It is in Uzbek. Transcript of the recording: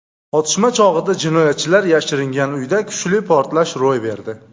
Otishma chog‘ida jinoyatchilar yashiringan uyda kuchli portlash ro‘y berdi.